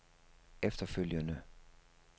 efterfølgende